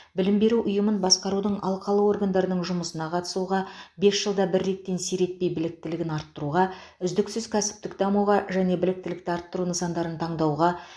білім беру ұйымын басқарудың алқалы органдарының жұмысына қатысуға бес жылда бір реттен сиретпей біліктілігін арттыруға үздіксіз кәсіптік дамуға және біліктілікті арттыру нысандарын таңдауға